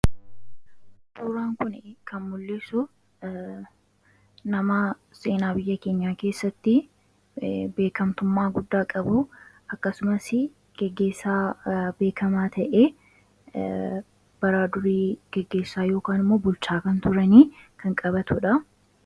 suuraan kuni kan mullisu nama seenaa biyya keenyaa keessatti beekamtummaa guddaa qabu; akkasumas geggeessaa beekamaa ta'ee bara durii geggeessaa yookiin immoo bulchaa kan turani kan qabatuudha.